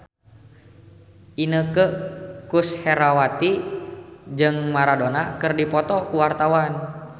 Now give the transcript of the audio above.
Inneke Koesherawati jeung Maradona keur dipoto ku wartawan